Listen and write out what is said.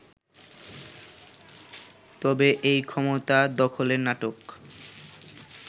তবে এই ক্ষমতা দখলের নাটক